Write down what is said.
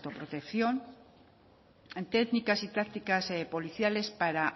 autoprotección en técnicas y tácticas policiales para